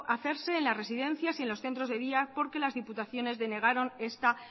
hacerse en las residencias y en los centros de día porque las diputaciones denegaron esta